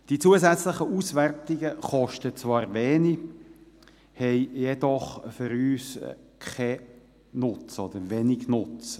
Die zusätzlichen Auswertungen kosten zwar wenig, haben jedoch für uns keinen oder wenig Nutzen.